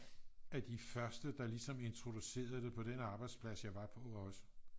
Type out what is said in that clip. af de første der ligesom introducerede det på den arbejdsplads jeg var på også